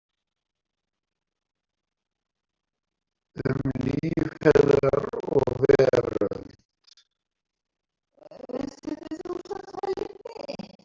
Um líf hennar og veröld.